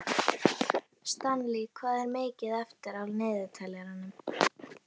Stanley, hvað er mikið eftir af niðurteljaranum?